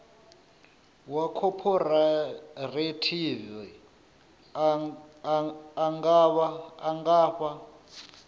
wa khophorethivi a nga fha